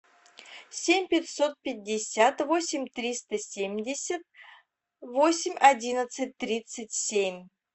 семь пятьсот пятьдесят восемь триста семьдесят восемь одиннадцать тридцать семь